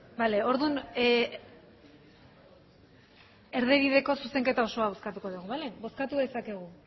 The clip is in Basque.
bale orduan erdibideko zuzenketa osoa bozkatuko dugu bale bozkatu dezakegu